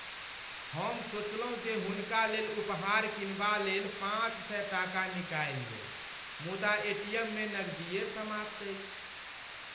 हम सोचलहुँ जे हुनकालेल उपहार किनबालेल पाँच सए टाका निकालि लेब मुदा एटीएममे नगदिए समाप्त अछि।